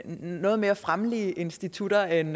noget mere fremmelige institutter end